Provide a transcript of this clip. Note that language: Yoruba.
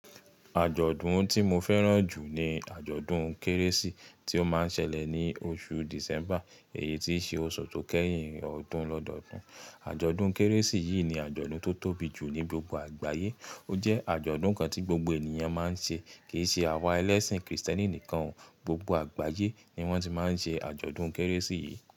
Àjọ̀dún tí mo fẹ́ràn jù ni àjọ̀dún Kérésì tí ó máa ń ṣẹlẹ̀ ní oṣù December, èyí tí í ṣe oṣù tó kẹ́yìn ọdún lọ́dọọdún. Àjọ̀dún Kérésì yìí ni àjọ̀dún tó tóbi jù ní gbogbo àgbáyé. Ó jẹ́ àjọ̀dún kan tí gbogbo ènìyàn máa ń ṣe, kì í ṣe àwa ẹlẹ́sìn Kristẹni nìkan. Gbogbo àgbáyé ni wọ́n ti máa ń ṣe àjọ̀dún Kérésì yìí.